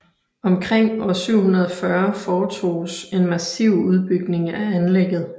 Omkring år 740 foretoges en massiv udbygning af anlægget